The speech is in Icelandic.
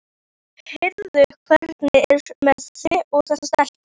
Heyrðu, hvernig er með þig og þessa stelpu?